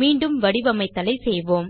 மீண்டும் வடிவமைத்தலை செய்வோம்